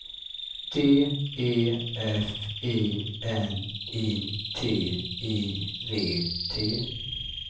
D E F I N I T I V T